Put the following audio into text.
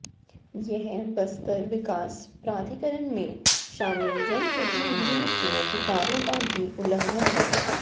यह बस्तर विकास प्राधिकरण में शामिल जनप्रतिनिधियों के अधिकारों का भी उलंघन है